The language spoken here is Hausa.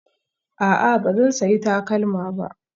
A'a, ba zan sayi takalma ba